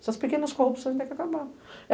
Essas pequenas corrupções tem que acabar.